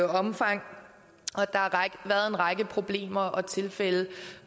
omfang og en række problemer og tilfælde